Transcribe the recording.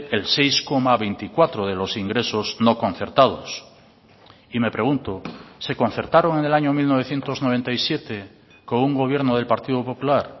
el seis coma veinticuatro de los ingresos no concertados y me pregunto se concertaron el año mil novecientos noventa y siete con un gobierno del partido popular